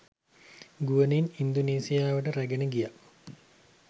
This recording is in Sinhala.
ගුවනින් ඉන්දුනීසියාවට රැගෙන ගියා.